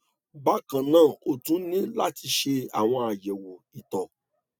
bákan náà o tún ní láti ṣe àwọn àyẹwò ìtọ